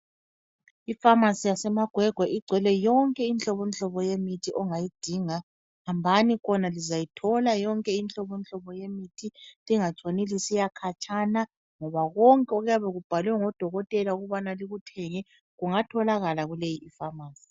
Ifamasi yaseMagwegwe ,igcwele yonke inhlobonhlobo yemithi ongayidinga .Hambani khona lizayithola yonke inhlobonhlobo yemithi lingatshoni lisiyakhatshana ,ngoba konke okuyabe kubhalwe ngodokotela ukubana likuthenge kungatholakala kuleyi ifamasi.